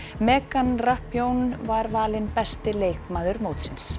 megan var valin besti leikmaður mótsins